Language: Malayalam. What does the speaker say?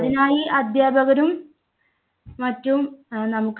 അതിനായി അധ്യാപകരും മറ്റും നമുക്ക്